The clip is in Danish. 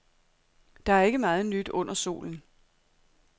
Der er ikke meget nyt under solen.